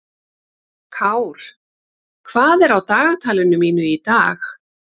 Kár, hvað er á dagatalinu mínu í dag?